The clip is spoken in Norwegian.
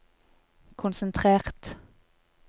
konsentrert